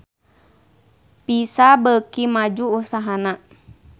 Visa beuki maju usahana